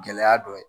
Gɛlɛya dɔ ye